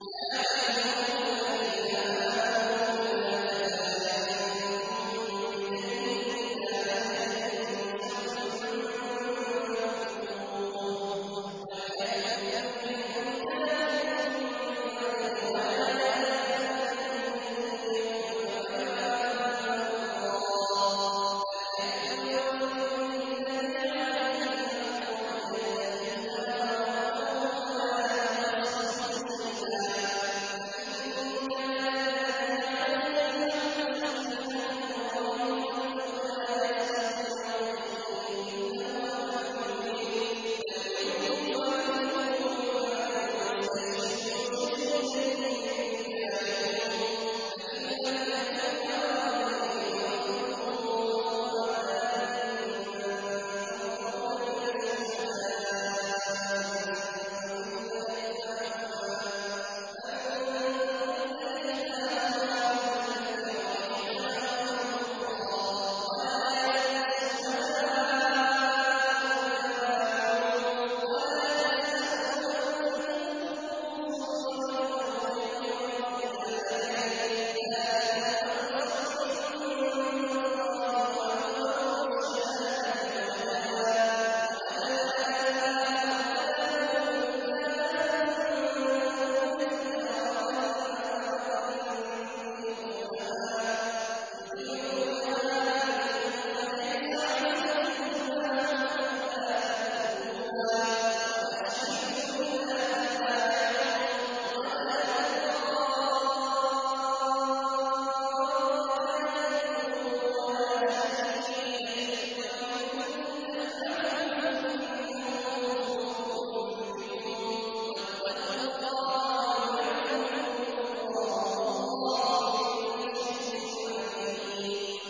يَا أَيُّهَا الَّذِينَ آمَنُوا إِذَا تَدَايَنتُم بِدَيْنٍ إِلَىٰ أَجَلٍ مُّسَمًّى فَاكْتُبُوهُ ۚ وَلْيَكْتُب بَّيْنَكُمْ كَاتِبٌ بِالْعَدْلِ ۚ وَلَا يَأْبَ كَاتِبٌ أَن يَكْتُبَ كَمَا عَلَّمَهُ اللَّهُ ۚ فَلْيَكْتُبْ وَلْيُمْلِلِ الَّذِي عَلَيْهِ الْحَقُّ وَلْيَتَّقِ اللَّهَ رَبَّهُ وَلَا يَبْخَسْ مِنْهُ شَيْئًا ۚ فَإِن كَانَ الَّذِي عَلَيْهِ الْحَقُّ سَفِيهًا أَوْ ضَعِيفًا أَوْ لَا يَسْتَطِيعُ أَن يُمِلَّ هُوَ فَلْيُمْلِلْ وَلِيُّهُ بِالْعَدْلِ ۚ وَاسْتَشْهِدُوا شَهِيدَيْنِ مِن رِّجَالِكُمْ ۖ فَإِن لَّمْ يَكُونَا رَجُلَيْنِ فَرَجُلٌ وَامْرَأَتَانِ مِمَّن تَرْضَوْنَ مِنَ الشُّهَدَاءِ أَن تَضِلَّ إِحْدَاهُمَا فَتُذَكِّرَ إِحْدَاهُمَا الْأُخْرَىٰ ۚ وَلَا يَأْبَ الشُّهَدَاءُ إِذَا مَا دُعُوا ۚ وَلَا تَسْأَمُوا أَن تَكْتُبُوهُ صَغِيرًا أَوْ كَبِيرًا إِلَىٰ أَجَلِهِ ۚ ذَٰلِكُمْ أَقْسَطُ عِندَ اللَّهِ وَأَقْوَمُ لِلشَّهَادَةِ وَأَدْنَىٰ أَلَّا تَرْتَابُوا ۖ إِلَّا أَن تَكُونَ تِجَارَةً حَاضِرَةً تُدِيرُونَهَا بَيْنَكُمْ فَلَيْسَ عَلَيْكُمْ جُنَاحٌ أَلَّا تَكْتُبُوهَا ۗ وَأَشْهِدُوا إِذَا تَبَايَعْتُمْ ۚ وَلَا يُضَارَّ كَاتِبٌ وَلَا شَهِيدٌ ۚ وَإِن تَفْعَلُوا فَإِنَّهُ فُسُوقٌ بِكُمْ ۗ وَاتَّقُوا اللَّهَ ۖ وَيُعَلِّمُكُمُ اللَّهُ ۗ وَاللَّهُ بِكُلِّ شَيْءٍ عَلِيمٌ